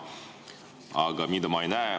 Aga mida ma ei näe?